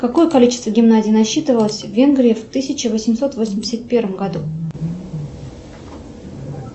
какое количество гимназий насчитывалось в венгрии в тысяча восемьсот восемьдесят первом году